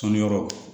Tɔnniyɔrɔ